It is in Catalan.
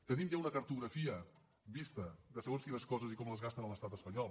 tenim ja una cartografia vista de segons quines coses i com les gasten a l’estat espanyol